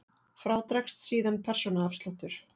Frá dregst síðan persónuafsláttur.